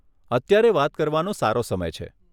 અત્યારે વાત કરવાનો સારો સમય છે.